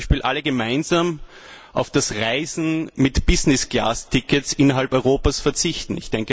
Wir könnten zum Beispiel alle gemeinsam auf das Reisen mit Business Class Tickets innerhalb Europas verzichten.